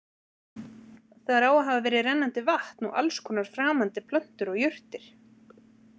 Þar á að hafa verið rennandi vatn og alls konar framandi plöntur og jurtir.